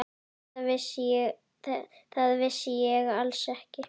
Það vissi ég alls ekki.